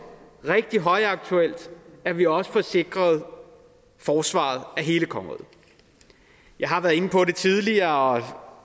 rigtig højaktuelt at vi også får sikret forsvaret af hele kongeriget jeg har været inde på det tidligere